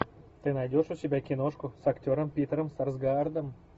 ты найдешь у себя киношку с актером питером сарсгаардом